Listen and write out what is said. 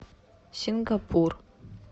сингапур